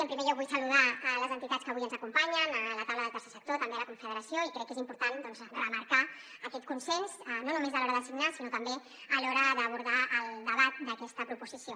en primer lloc vull saludar les entitats que avui ens acompanyen la taula del tercer sector també la confederació i crec que és important doncs remarcar aquest consens no només a l’hora de signar sinó també a l’hora d’abordar el debat d’aquesta proposició